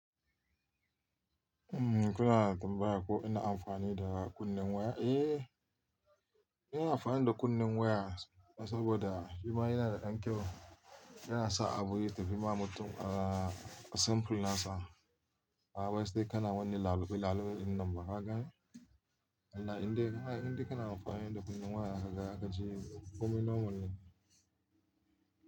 Umm kuna tambaya ko ina amfani da kunnen waya? Eh, ina amfani da kunnen waya, saboda shi ma yana da ɗan kyau. Yana sa abu yatafi ma mutum simple nasa. Ba waƴansu dai kana wannan lalube-lalube ɗinnan ba, ka gane. Allah indai kana amfani da kunnen waya kaga zakaji komai normal ne.